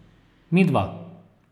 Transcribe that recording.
Midva!